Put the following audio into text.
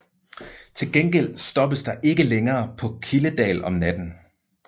Til gengæld stoppes der ikke længere på Kildedal om natten